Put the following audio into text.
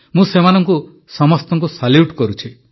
ମୁଁ ସେମାନଙ୍କୁ ସମସ୍ତଙ୍କୁ ସାଲ୍ୟୁଟ୍ କରୁଛି